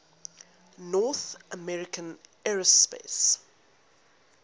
north american aerospace